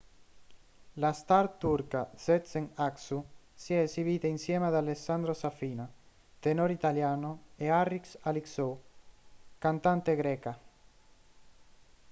la star turca sezen aksu si è esibita insieme ad alessandro safina tenore italiano e a haris alexiou cantante greca